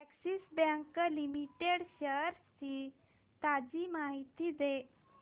Axis bank limited shares ची ताजी माहिती दे